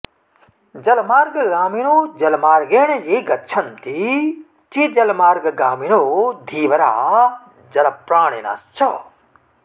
जलमार्गगामिनो जलमार्गेण ये गच्छन्ति ते जलमार्गगामिनो धीवरा जलप्राणिनश्च